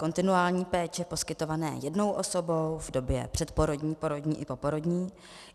Kontinuální péče poskytované jednou osobou v době předporodní, porodní i poporodní.